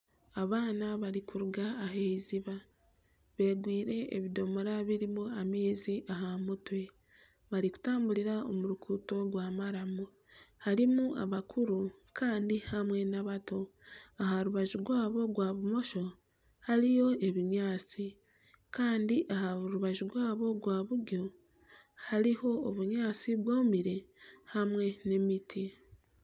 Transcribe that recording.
Abaana barikuruga ah'eiziba beegwire ebidomoora birimu amaizi aha mutwe barikutamburira aha ruguuto rwa maramu. Harimu abakuru kandi hamwe n'abato. Aha rubajub rwabo rwa bumosho hariho ebinyaatsi. Kandi aha rubaju rwabo rwa buryo hariho obunyaatsi bwomire hamwe n'emiti.